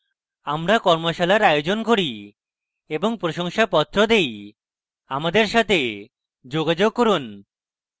আমরা কর্মশালার আয়োজন করি এবং প্রশংসাপত্র দেই আমাদের সাথে যোগাযোগ করুন